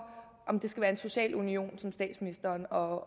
om det skal være en social union som statsministeren og